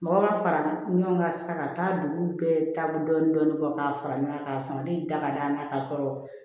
Mɔgɔ b'a fara ɲɔgɔn kan sisan ka taa duguw bɛɛ taabolo dɔɔni kɔ k'a fara ɲɔgɔn kan k'a sama de da ka d'a na ka sɔrɔ